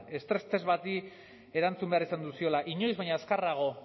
estres test bati erantzun behar izan ziola inoiz baino azkarrago